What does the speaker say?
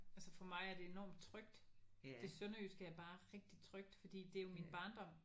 Altså for mig er det enormt trygt. Det sønderjyske er bare rigtig trygt fordi det er jo min barndom